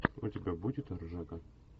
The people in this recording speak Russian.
у тебя будет ржака